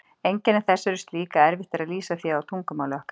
Einkenni þess eru slík að erfitt er að lýsa því á tungumáli okkar.